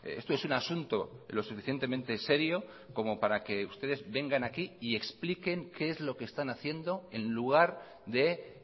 esto es un asunto lo suficientemente serio como para que ustedes vengan aquí y expliquen qué es lo que están haciendo en lugar de